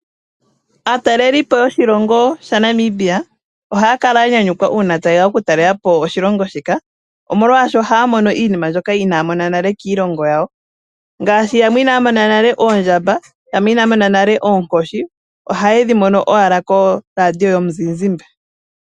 Aatalelipo yoshilongo sha Namibia ohaaya kala ya nyanyukwa uuna ta yeya oku talelapo oshilongo shika, omolwaasho ohaya mono iinima mbyoka inaya mona nale kiilongo yawo. Ngaashi yamwe inaya mona nale oondjamba yamwe inaya mona nale oonkoshi, ohaye dhi mono owala koradio yomu zizimba.